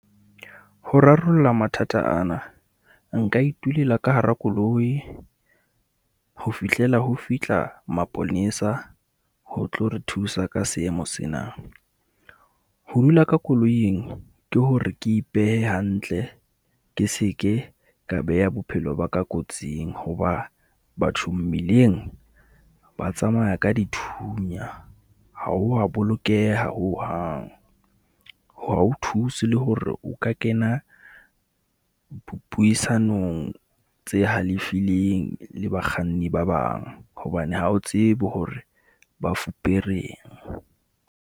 Ho rarolla mathata ana, nka itulela ka hara koloi ho fihlela ho fihla maponesa ho tlo re thusa ka seemo sena. Ho dula ka koloing ke hore ke ipehe hantle ke seke ka beha bophelo ba ka kotsing hoba bathong mmileng ba tsamaya ka dithunya. Ha ho wa bolokeha hohang. Ha ho thuse le hore o ka kena puisanong tse halefileng le bakganni ba bang hobane ha o tsebe hore ba fupereng.